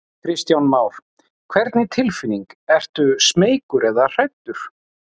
Kristján Már: Hvernig tilfinning, ertu smeykur eða hræddur?